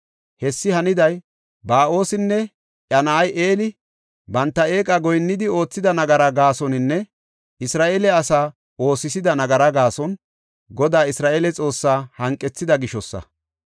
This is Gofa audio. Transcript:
Hessi haniday Ba7oosinne iya na7ay Eli banta eeqa goyinnidi oothida nagaraa gaasoninne Isra7eele asa oosisida nagaraa gaason, Godaa Isra7eele Xoossaa hanqethida gishosa.